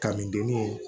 Ka mindennin